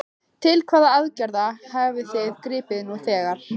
Til hvaða aðgerða hafið þið gripið nú þegar?